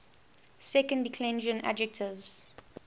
second declension adjectives